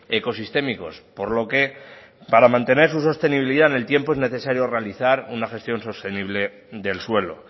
ecosistémicos por lo que para mantener su sostenibilidad en el tiempo es necesario realizar una gestión sostenible del suelo